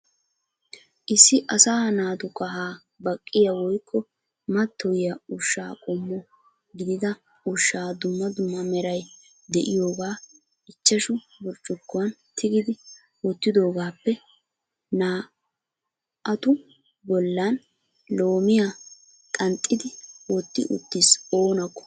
Issi asaa naatu kahaa baqqiya woykko matoyiyya ushsha qommo gidida ushsha dumma meray de'iyoogaa ichashshu burccukuwan tigidi wottidoogaappe naa"atu bollan loomiya qanxxidi wotti uttiis oonakko.